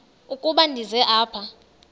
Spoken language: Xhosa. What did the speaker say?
ukuba ndize apha